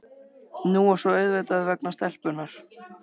Nú og svo auðvitað vegna stelpunnar.